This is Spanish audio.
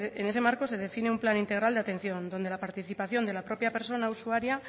en ese marco se define un plan integral de atención donde la participación de la propia persona usuaria